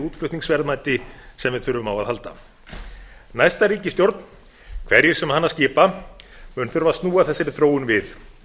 útflutningsverðmæti sem við þurfum á að halda næsta ríkisstjórn hverjir sem hana skipa mun þurfa að snúa þessari þróun við